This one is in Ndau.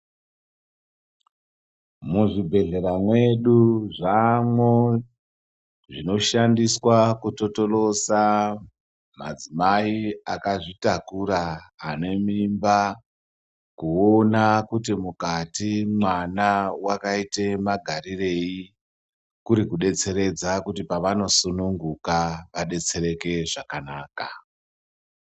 Muzvibhedhlera mwedu zvamwo zvinoshandiswa kutotolosa madzimai akazvitakura, ane mimba kuona kuti mwukati mwana wakaite magarirei kuri kudetseredza kuti pavanosununguka adetsereke zvakanaka.